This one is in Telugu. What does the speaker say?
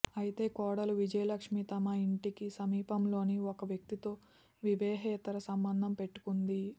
అయితే కోడలు విజయలక్ష్మీ తమ ఇంటికి సమీపంలోని ఓ వ్యక్తితో వివాహేతర సంబంధం పెట్టుకుంది